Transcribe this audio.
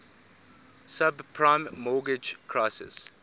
subprime mortgage crisis